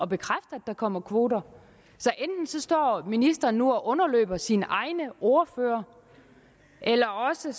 bekræfte at der kommer kvoter så enten står ministeren nu og underløber sine egne ordførere eller også